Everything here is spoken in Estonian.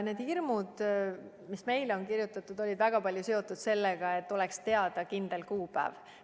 Need hirmud, millest meile on kirjutatud, olid väga palju seotud sellega, et pole teada kindlat kuupäeva.